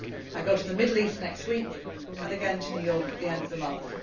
I will go to the Middle East next week and again to New York at the end of the month.